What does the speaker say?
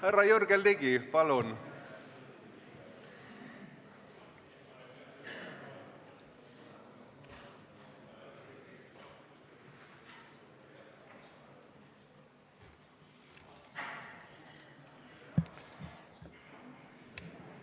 Härra Jürgen Ligi, palun!